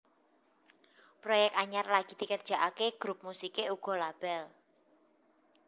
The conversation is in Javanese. Proyek anyar lagi dikerjakaké grup musiké uga label